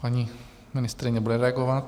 Paní ministryně bude reagovat.